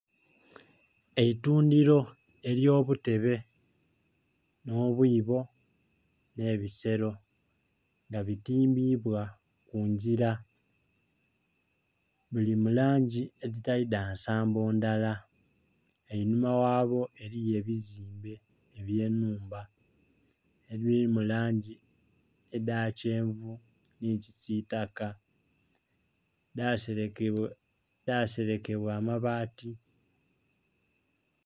Eitundiro ery' obutebe n' obwibo n' ebisero nga bitimbibwa kunjira. Buli mulangi editali dha nsambo ndhala einhuma ghabwo eriyo ebizimbe ebye nhumba ediri mulangi eda kyenvu ni kisitaka dha serekebwa amabati